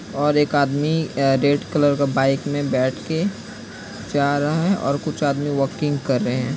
और एक आदमी रेड कलर के बाइक में बैठ कर जा रहा है और कुछ आदमी वॉकिंग कर रहे है।